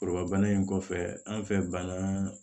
Foroba in kɔfɛ an fɛ bangan